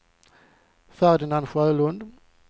Ferdinand Sjölund